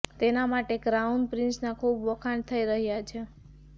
તેના માટે ક્રાઉન પ્રિન્સના ખૂબ વખાણ થઇ રહ્યા છે